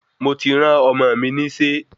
Mo ti rán Ọmọ mi nise